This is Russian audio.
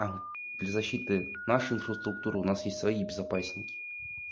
а для защиты нашей инфраструктуры у нас есть свои безопасники